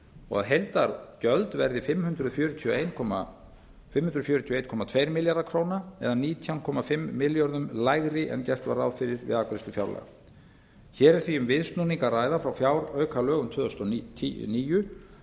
og að heildargjöld verði fimm hundruð fjörutíu og einn komma tveir milljarðar króna nítján komma fimm milljörðum króna lægri en gert var ráð fyrir við afgreiðslu fjárlaga hér er því um viðsnúning að ræða frá fjáraukalögum tvö þúsund og níu